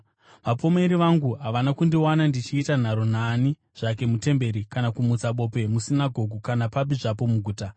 Vapomeri vangu havana kundiwana ndichiita nharo naani zvake mutemberi, kana kumutsa bope musinagoge kana papi zvapo muguta.